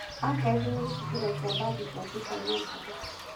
Archives nĩ gĩcukĩro kĩa mbathi cia super metro.